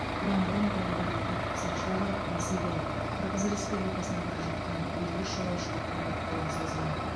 бұдан бұрын павлодарлық тәртіп сақшылары ресейден қырғыз республикасына бара жатқан елу үш жолаушыға көмек қолын созған